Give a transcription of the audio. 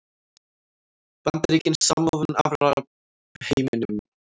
Bandaríkin samofin Arabaheiminum